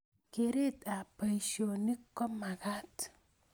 Keret ab boisonik komakat